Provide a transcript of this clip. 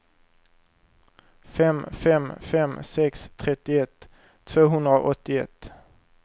fem fem fem sex trettioett tvåhundraåttioett